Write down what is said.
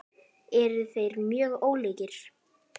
Eru þeir mjög ólíkir?